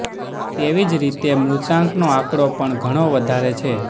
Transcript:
તેવી જ રીતે મૃતાંકનો આંકડો પણ ઘણો વધારે છે